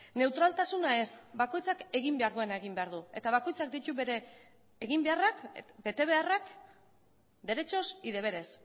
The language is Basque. neutraltasuna ez bakoitzak egin behar duena egin behar du eta bakoitzak ditu bere eginbeharrak betebeharrak derechos y deberes